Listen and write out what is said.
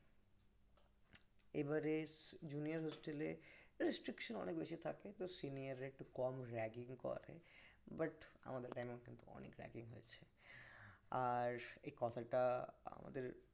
এবারে junior hostel restriction অনেক বেশি থাকে তো senior রাত একটু কম ragging করে but আমাদের এ কিন্তু অনেক ragging হয়েছে আর এই কথাটা আমাদের